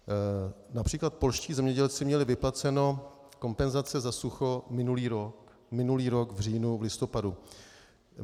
Například polští zemědělci měli vyplaceny kompenzace za sucho minulý rok v říjnu, v listopadu.